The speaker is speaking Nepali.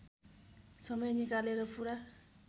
समय निकालेर पुरा